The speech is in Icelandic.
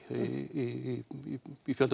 í kvöld og